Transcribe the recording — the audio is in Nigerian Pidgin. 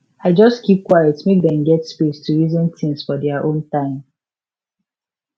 i just keep quiet make dem get space to reason things for their own time